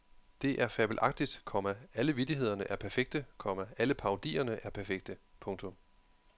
Det er fabelagtigt, komma alle vittighederne er perfekte, komma alle parodierne er perfekte. punktum